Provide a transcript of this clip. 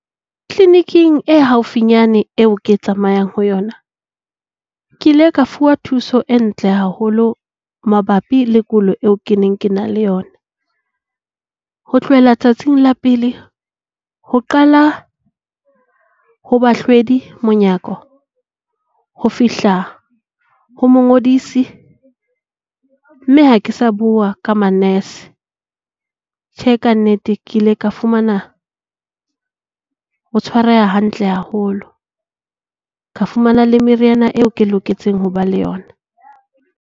Clinic-eng e haufinyane eo ke tsamayang ho yona, ke ile ka fuwa thuso e ntle haholo mabapi le kulo eo ke neng ke na le yona. Ho tlohela tsatsing la pele ho qala ho bahlwedi monyako. Ho fihla ho mongodisi mme ha ke sa bua ka manese. Tjhe, ka nnete ke ile ka fumana ho tshwareha hantle haholo. Ka fumana le meriana eo ke loketseng ho ba le yona.